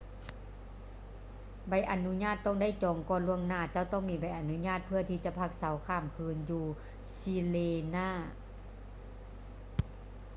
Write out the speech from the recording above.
ໃບອະນຸຍາດຕ້ອງໄດ້ຈອງກ່ອນລ່ວງໜ້າ ເຈົ້າຕ້ອງມີໃບອະນຸຍາດເພື່ອທີ່ຈະພັກເຊົາຂ້າມຄືນຢູ່ sirena